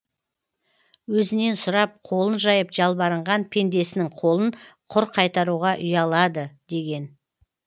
өзінен сұрап қолын жайып жалбарынған пендесінің қолын құр қайтаруға ұялады деген